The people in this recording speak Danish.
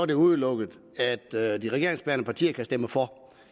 det udelukket at de regeringsbærende partier vil stemme for